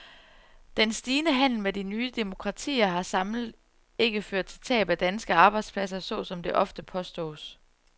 Den stigende handel med de nye demokratier har samlet ikke ført til tab af danske arbejdspladser, sådan som det ofte påstås.